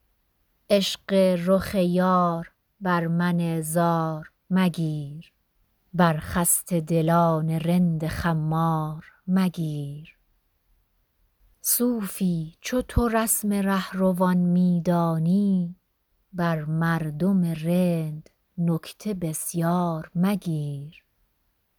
عشق رخ یار بر من زار مگیر بر خسته دلان رند خمار مگیر صوفی چو تو رسم رهروان می دانی بر مردم رند نکته بسیار مگیر